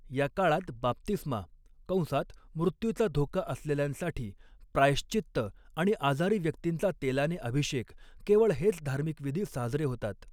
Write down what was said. या काळात बाप्तिस्मा कंसात मृत्यूचा धोका असलेल्यांसाठी, प्रायश्चित्त आणि आजारी व्यक्तींचा तेलाने अभिषेक केवळ हेच धार्मिक विधी साजरे होतात.